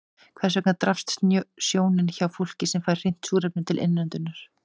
Hvers vegna daprast sjónin hjá fólki sem fær hreint súrefni til innöndunar?